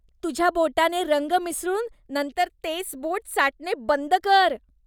तुझ्या बोटाने रंग मिसळून नंतर तेच बोट चाटणे बंद कर.